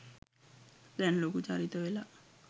දැන් ලොකු චරිත වෙලා.